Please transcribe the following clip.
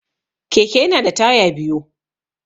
Keke yana da taya biyu.